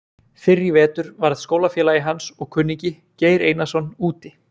Fyrr í vetur varð skólafélagi hans og kunningi, Geir Einarsson, úti.